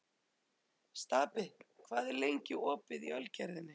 Stapi, hvað er lengi opið í Ölgerðinni?